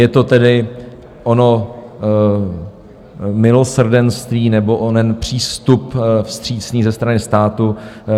Je to tedy ono milosrdenství nebo onen přístup vstřícný ze strany státu.